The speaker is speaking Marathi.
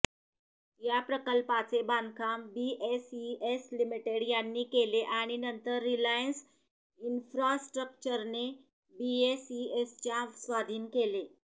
या प्रकल्पाचे बांधकाम बीएसईएस लिमिटेड यांनी केले आणि नंतर रिलायन्स इन्फ्रास्ट्रक्चरने बीएसईएसच्या स्वाधीन केले